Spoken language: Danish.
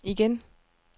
igen